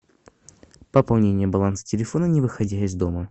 пополнение баланса телефона не выходя из дома